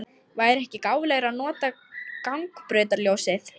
Væri ekki gáfulegra að nota gangbrautarljósið?